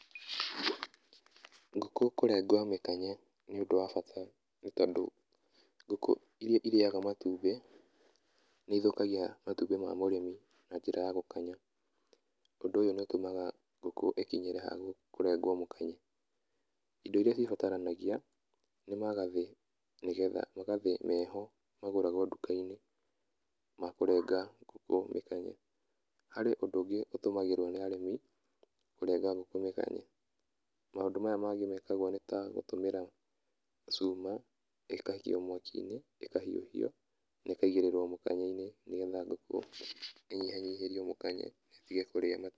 Ngũkũ kũrengwo mĩkanye nĩ ũndũ wa bata nĩ tondũ ngũkũ iria irĩaga matumbĩ, nĩ ithũkagia matumbĩ ma mũrĩmi na njĩra ya gũkanya. Ũndũ ũyũ nĩ ũtũmaga ngũkũ ĩkinyĩre ha kũrengwo mũkanye. Indo iria cibataragia nĩ magathĩ nĩgetha, magathĩ meho magũrawo nduka-inĩ ma kũrenga ngũkũ mĩkanye. Harĩ ũndũ ũngĩ ũtũmagĩrwo nĩ arĩmi kũrenga ngũkũ mĩkanye, maũndũ maya mangĩ mekagwo nĩ ta gũtũmĩra cuma, ĩgaikio mwaki-inĩ, ĩkahiũhio na ĩkaigĩrĩrwo mũkanye-inĩ nĩgetha ngũkũ ĩnyihanyihĩrio mũkanye ĩtige kũrĩa matumbĩ.